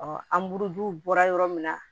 an buru bɔra yɔrɔ min na